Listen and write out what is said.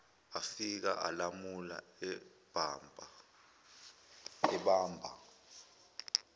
afika alamula ebamba